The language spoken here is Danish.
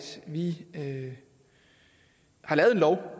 vi herinde